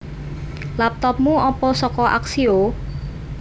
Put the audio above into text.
Lapotopmu opo soko Axioo?